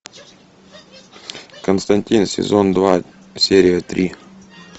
константин сезон два серия три